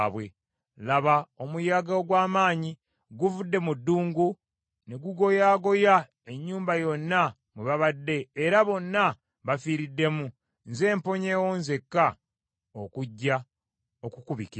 laba, omuyaga ogw’amaanyi guvudde mu ddungu ne gugoyaagoya ennyumba yonna mwe babadde era bonna bafiiriddemu nze mponyeewo nzekka okujja okukubikira.”